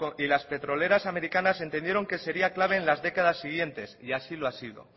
y las petroleras americanas entendieron que sería claves en las décadas siguientes y así lo ha sido